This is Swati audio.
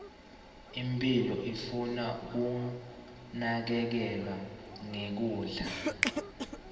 imphilo ifuna kunakekelana nge kudla